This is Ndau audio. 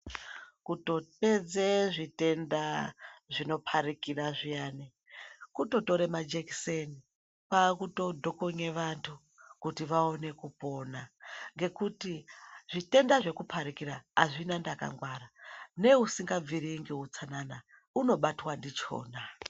Kutopedze zvitenda zvinoparikira zviyani, kutotora majekiseni kwakutodhokonye vantu, kuti vawone kupona, ngekuti zvitenda zvekuparikira azvina ndakangwara neusingabviri ngeutsanana unobatwa ndichona.